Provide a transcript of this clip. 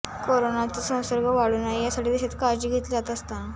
करोनाचा संसर्ग वाढू नये यासाठी देशात काळजी घेतली जात असताना